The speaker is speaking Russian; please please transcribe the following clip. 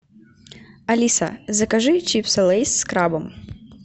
алиса закажи чипсы лейс с крабом